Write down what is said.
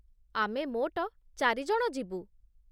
ଆମେ ମୋଟ ଚାରି ଜଣ ଯିବୁ